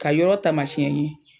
Ka yɔrɔ taamasiyɛ n ye